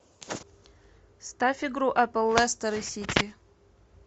ставь игру апл лестер и сити